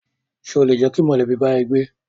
Ṣé o lè jẹ́ kí mọ̀lẹ́bí bá ẹ gbé?